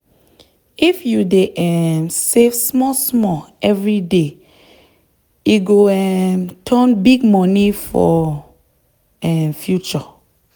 if you dey um save small small every day e go um turn big money for um future.